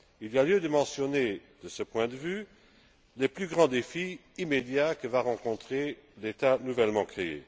Il y a lieu de mentionner de ce point de vue les plus grands défis immédiats que va rencontrer l'État nouvellement créé.